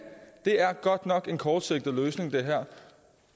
det her er godt nok en kortsigtet løsning